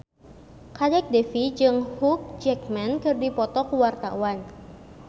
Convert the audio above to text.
Kadek Devi jeung Hugh Jackman keur dipoto ku wartawan